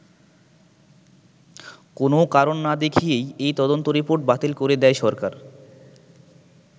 কোনও কারণ না দেখিয়েই এই তদন্ত রিপোর্ট বাতিল করে দেয় সরকার।